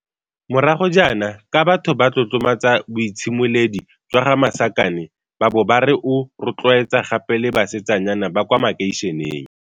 morago jaana, ka batho ba tlotlomatsa boitshimoledi jwa ga Masakane ba bo ba re o rotloetsa gape le basetsanyana ba kwa makeisheneng.